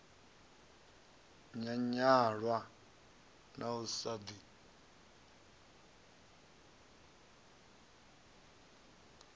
nyanyulwa na u sa ḓi